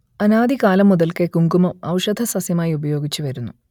അനാദി കാലം മുതൽക്കേ കുങ്കുമം ഔഷധസസ്യമായി ഉപയോഗിച്ചുവരുന്നു